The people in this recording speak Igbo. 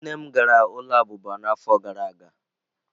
Nne m gara ụlọ abụba n'afọ gara aga.